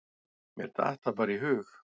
Mér datt það bara í hug.